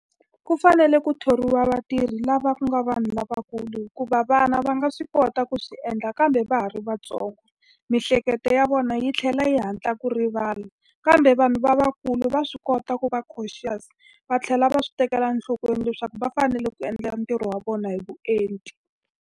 Ku fanele ku thoriwa vatirhi lava ku nga vanhu lavakulu hikuva vana va nga swi kota ku swi endla kambe va ha ri va ntsongo. Miehleketo ya vona yi tlhela yi hatla ku rivala, kambe vanhu lavakulu va swi kota ku va cautious, va tlhela va swi tekela enhlokweni leswaku va fanele ku endla ntirho wa vona hi vuenti.